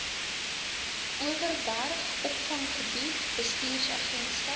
overberg opvanggebied bestuursagentskap